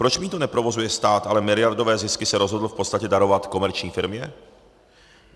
Proč mýto neprovozuje stát, ale miliardové zisky se rozhodl v podstatě darovat komerční firmě?